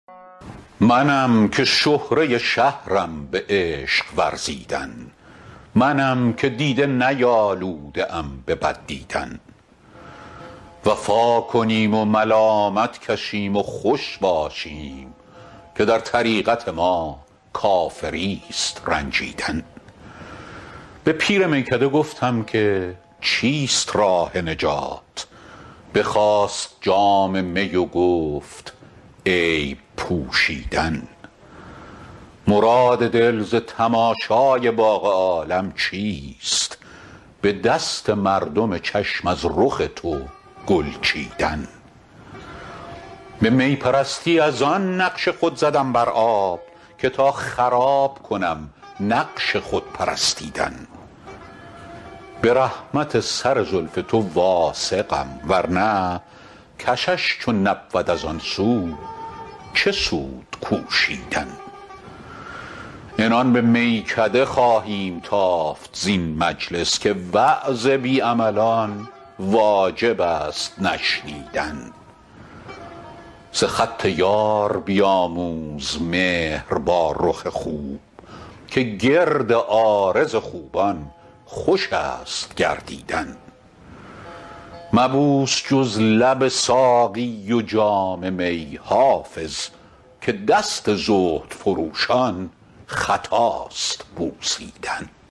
منم که شهره شهرم به عشق ورزیدن منم که دیده نیالوده ام به بد دیدن وفا کنیم و ملامت کشیم و خوش باشیم که در طریقت ما کافریست رنجیدن به پیر میکده گفتم که چیست راه نجات بخواست جام می و گفت عیب پوشیدن مراد دل ز تماشای باغ عالم چیست به دست مردم چشم از رخ تو گل چیدن به می پرستی از آن نقش خود زدم بر آب که تا خراب کنم نقش خود پرستیدن به رحمت سر زلف تو واثقم ورنه کشش چو نبود از آن سو چه سود کوشیدن عنان به میکده خواهیم تافت زین مجلس که وعظ بی عملان واجب است نشنیدن ز خط یار بیاموز مهر با رخ خوب که گرد عارض خوبان خوش است گردیدن مبوس جز لب ساقی و جام می حافظ که دست زهد فروشان خطاست بوسیدن